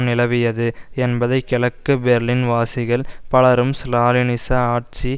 நிலவியது என்பதை கிழக்கு பெர்லின் வாசிகள் பலரும் ஸ்லாலினிச ஆட்சி